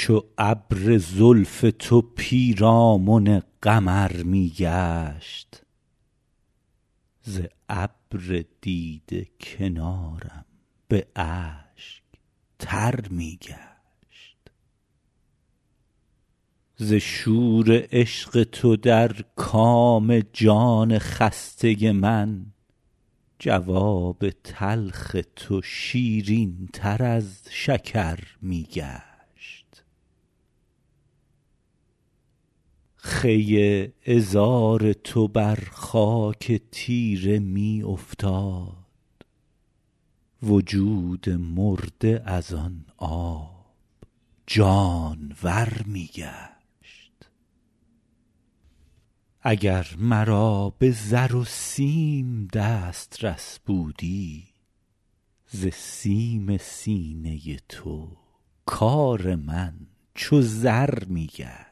چو ابر زلف تو پیرامن قمر می گشت ز ابر دیده کنارم به اشک تر می گشت ز شور عشق تو در کام جان خسته من جواب تلخ تو شیرین تر از شکر می گشت خوی عذار تو بر خاک تیره می افتاد وجود مرده از آن آب جانور می گشت اگر مرا به زر و سیم دسترس بودی ز سیم سینه تو کار من چو زر می گشت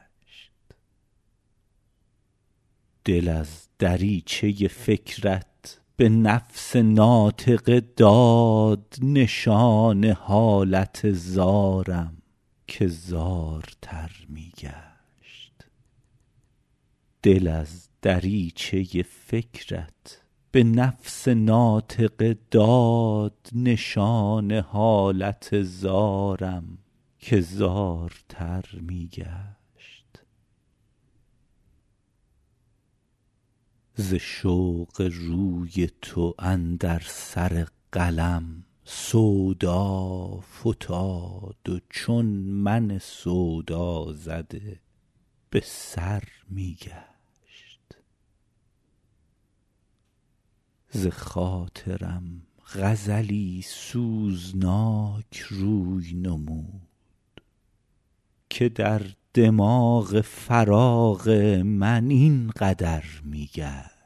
دل از دریچه فکرت به نفس ناطقه داد نشان حالت زارم که زارتر می گشت ز رشک قد تو اندر سر قلم سودا فتاد و چون من سودازده به سر می گشت بخاطرم غزلی سوزناک روی نمود که در دماغ خیال من این قدر می گشت